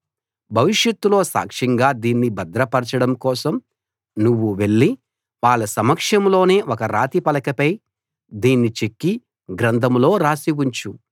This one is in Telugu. భవిష్యత్తులో సాక్ష్యంగా దీన్ని భద్రపరచడం కోసం నువ్వు వెళ్లి వాళ్ళ సమక్షంలోనే ఒక రాతి పలకపై దీన్ని చెక్కి గ్రంథంలో రాసి ఉంచు